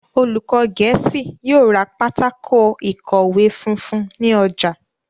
olùkó gèésì yóò rá Pátákó ìkọ̀wé funfun ní ojà.